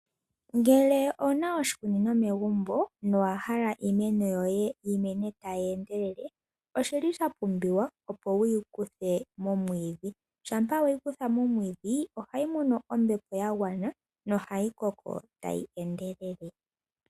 Ngele owuna oshikunino megumbo, na owahala iimeno yoye yi mene tayi endelele, oshili sha pumbiwa opo wu yi kuthe momwiidhi. Shampa weyi kutha momwiidhi ohayi mono ombepo ya gwana ,na ohayi koko tayi endelele.